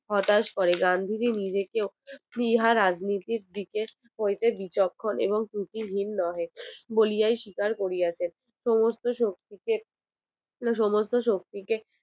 হতাশ করে গান্ধী নিজেকে ইহার রাজনীতির দিকে বিচক্ষণ এবং দুটি ভিন্ন হয় বলিয়া স্বীকার করিয়াছেন সমস্ত শত্রু কে সমস্ত শত্রু কে হঠাৎ